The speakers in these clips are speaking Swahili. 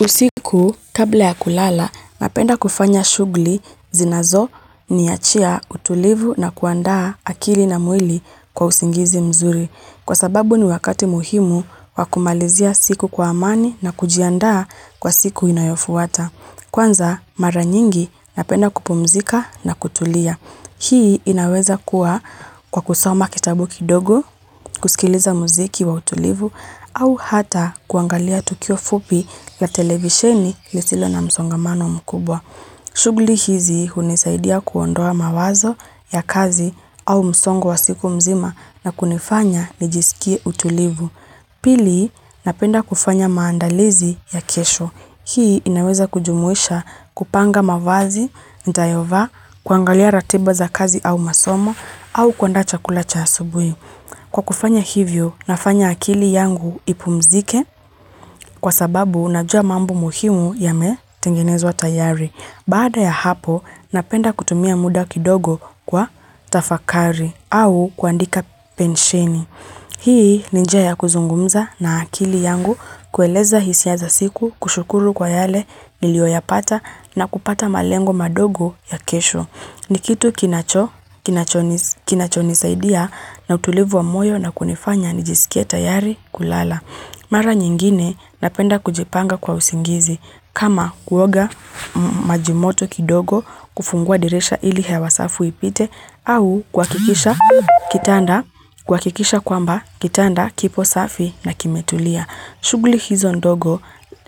Usiku, kabla ya kulala, napenda kufanya shughli zinazoniachia utulivu na kuandaa akili na mwili kwa usingizi mzuri. Kwa sababu ni wakati muhimu wa kumalizia siku kwa amani na kujiandaa kwa siku inayofuata. Kwanza, mara nyingi napenda kupumzika na kutulia. Hii inaweza kuwa kwa kusoma kitabu kidogo, kusikiliza muziki wa utulivu au hata kuangalia tukio fupi la televisheni lisilo na msongamano mkubwa. Shugli hizi hunisaidia kuondoa mawazo ya kazi au msongo wa siku mzima na kunifanya nijisikie utulivu. Pili, napenda kufanya maandalizi ya iesho. Hii inaweza kujumuisha kupanga mavazi, nitayova, kuangalia ratiba za kazi au masomo, au kuandaa chakula cha asubuhi. Kwa kufanya hivyo, nafanya akili yangu ipumzike kwa sababu najua mambo muhimu yametengenezwa tayari. Baada ya hapo, napenda kutumia muda kidogo kwa tafakari au kuandika pensheni. Hii ni njia ya kuzungumza na akili yangu kueleza hisia za siku kushukuru kwa yale nilioyapata na kupata malengo madogo ya kesho. Ni kitu kinachonisaidia na utulivu wa moyo na kunifanya nijisikie tayari kulala. Mara nyingine napenda kujipanga kwa usingizi kama kuoga maji moto kidogo kufungua dirisha ili hewa safu ipite au kuhakikisha kwamba kipo safi na kimetulia.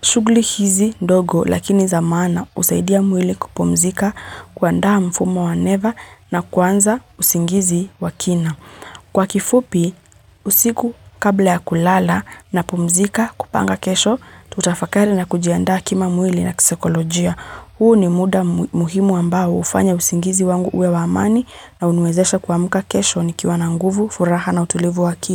Shugli hizi ndogo lakini za maana usaidia mwili kupomzika kuandaha mfumo wa never na kuanza usingizi wakina. Kwa kifupi, usiku kabla ya kulala napumzika kupanga kesho, tutafakari na kujianda kima mwili na kisekolojia. Huu ni muda muhimu ambao ufanya usingizi wangu uwe wa amani na unwezesha kwa muka kesho ni kiwa na nguvu furaha na utulivu wakili.